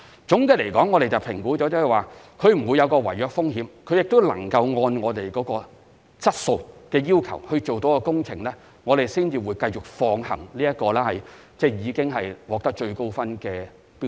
總的來說，我們會評估投標者會否有違約風險，並能按我們的質素要求完成工程，然後才會繼續考慮已獲最高評分的標書。